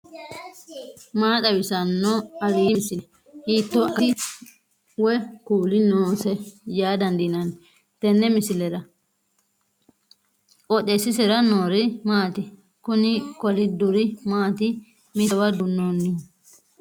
maa xawissanno aliidi misile ? hiitto akati woy kuuli noose yaa dandiinanni tenne misilera? qooxeessisera noori maati ? kuni kolidduri maati mittowa duunnoonnihu